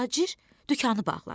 Tacir dükanı bağladı.